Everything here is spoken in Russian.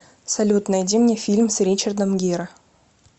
салют найди мне фильм с ричардом гиро